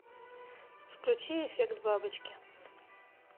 включи эффект бабочки